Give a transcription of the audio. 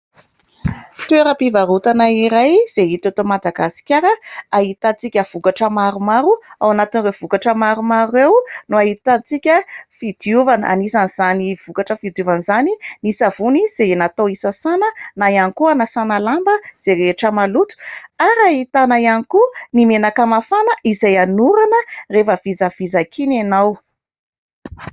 Toeram-pivarotana iray izay hita eto Madagasikara, ahitantsika vokatra maromaro. Ao anatin'ireo vokatra maromaro ireo no ahitantsika fidiovana. Anisan'izany vokatra fidiovana izany ny savony, izay natao hisasana, na ihany koa hanasana lamba izay rehetra maloto ; ary ahitana ihany koa ny menaka mafana izay anorana rehefa vizavizaka iny ianao.